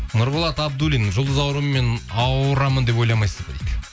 нұрболат абдуллин жұлдыз ауруымен ауырамын деп ойламасыз ба дейді